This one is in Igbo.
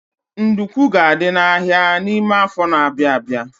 Nduku ga-adị n'ahia n'ime afọ n'abia abịa..